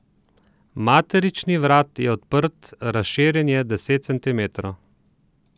Maternični vrat je odprt, razširjen je deset centimetrov.